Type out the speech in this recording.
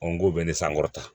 n ko bɛ ni sankɔrɔta